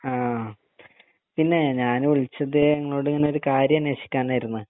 ആഹ് പിന്നെ ഞാന് വിളിച്ചത് ഇങ്ങളോട് ഇങ്ങനെ ഒരു കാര്യം അന്വേഷിക്കാനേർന്ന്